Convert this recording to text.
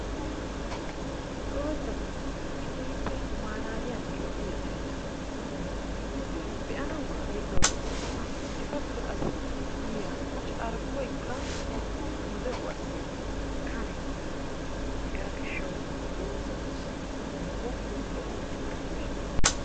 Doozzati keehippe maalaaliyanne lo''iya mereta. Eti be'anawukka ayfiyawu lo''oosona. Etappe qassi yiya carkkoykka nu de'uwaassi kane. Hegaa gishshawu doozzatussi bonchchoynne lo''o oyqettay koshshees.